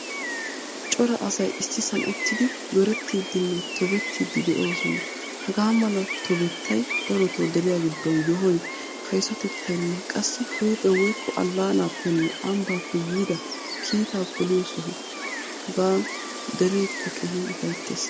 Cora asay issisan uttidi zorettidinne tobbiiddi de'osona. Hagaa mala tobbettay daroto deriyaa giddon yohoy, kaysotettaynne qassi huuphphee woykko allaanappenne ambappe yiidda kiitta poliyo soho. Hagan derekka keehin ufayttees.